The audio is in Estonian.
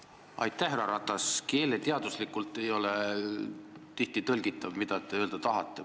Tihti ei ole keeleteaduslikult tõlgitav, mida te öelda tahate.